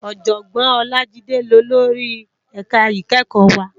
Òjògbòn Olajide ni ólóri èká ikèékò wá